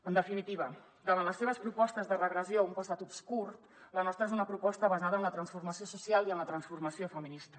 en definitiva davant les seves propostes de regressió a un passat obscur la nostra és una proposta basada en la transformació social i en la transformació feminista